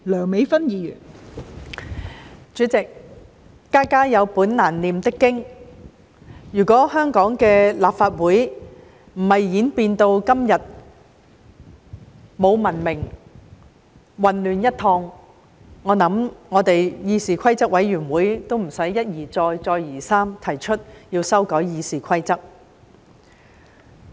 代理主席，家家有本難唸的經，如果香港的立法會不是演變至今天沒有文明、混亂一片，我想我們的議事規則委員會亦無須一而再，再而三地提出修改《議事規則》。